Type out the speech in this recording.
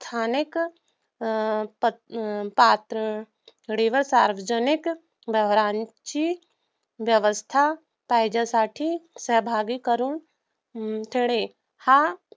स्थानिक पातळीवर सार्वजनिक व्यवहरांची व्यवस्था पाहिजेसाठी सहभागी करून घेणे हा